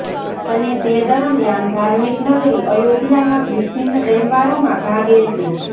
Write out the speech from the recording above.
અને તે દરમિયાન ધાર્મિક નગરી અયોધ્યામાં વિભિન્ન તહેવારોમાં ભાગ લેશે